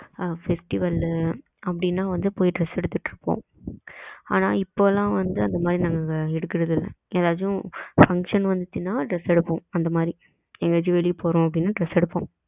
festival லு அப்டினா வந்து போய் dress எடுத்துட்டு இருப்போம். ஆன இப்போ எல்லாம் வந்து அந்த மாதிரி நாங்க எடுக்குறது இல்ல எதாச்சும் function வந்துச்சுனா dress எடுப்போம் அந்த மாரி என்கையாச்சும் வெளிய போறோம் அப்டினா dress எடுப்போம் அந்த மாரி